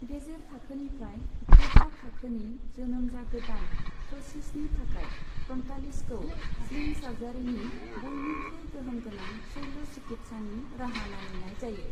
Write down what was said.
गेजेर थाखोनिफ्राय गोब्राब थाखोनि जोनोम जागोदान प्तसिसनि थाखाय फ्रन्टालिसखौ स्लिं सार्जारीनि बयनिख्रुइ गोहोमगोनां शल्य चिकित्सानि राहा मानिनाय जायो।